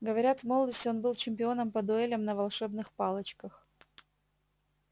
говорят в молодости он был чемпионом по дуэлям на волшебных палочках